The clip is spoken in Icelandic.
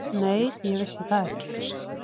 Nei, ég vissi það ekki.